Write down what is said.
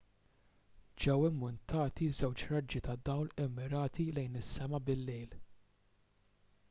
ġew immuntati żewġ raġġi ta' dawl immirati lejn is-sema bil-lejl